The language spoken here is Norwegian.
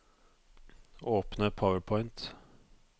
Åpne PowerPoint